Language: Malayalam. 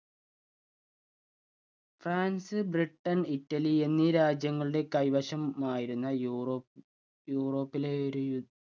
ഫ്രാൻസ് ബ്രിട്ടൻ ഇറ്റലി എന്നീ രാജ്യങ്ങളുടെ കൈവശമായിരുന്ന യൂറോപ്പ് യൂറോപ്പിലെ ഒരു യു